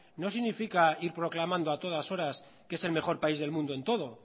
no significa ir proclamando a todas horas que es el mejor país del mundo en todo